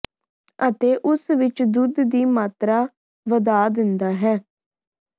ਅਤੇ ਉਸ ਵਿੱਚ ਦੁੱਧ ਦੀ ਮਾਤਰਾ ਵਧਾ ਦਿੰਦਾ ਹੈ